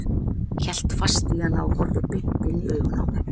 Hélt fast í hana og horfði beint inn í augun á mér.